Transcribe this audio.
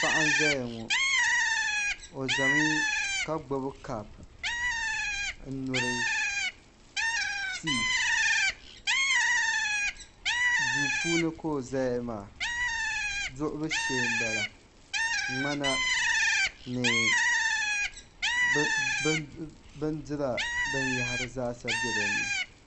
Paɣa m ʒɛya ŋo o ʒɛmi ka gbubi kaap n nyuri tii duu puuni ka o ʒɛya maa duɣuli shee n bala ŋmana ni bindira binyahari zaa sa bɛ dinni